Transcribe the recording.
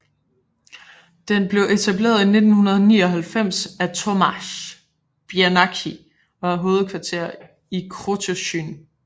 Den blev etableret i 1999 af Tomasz Biernacki og har hovedkvarter i Krotoszyn